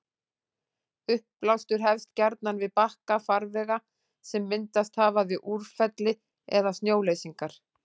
Uppblástur hefst gjarnan við bakka farvega sem myndast hafa við úrfelli eða snjóleysingar.